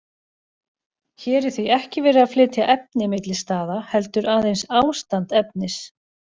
Hér er því ekki verið að flytja efni milli staða, heldur aðeins ástand efnis.